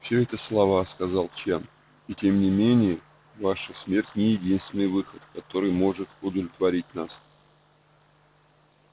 все это слова сказал чен и тем не менее ваша смерть не единственный выход который может удовлетворить нас